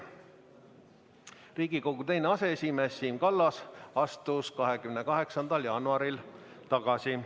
Riigikogu teine aseesimees Siim Kallas astus 28. jaanuaril tagasi.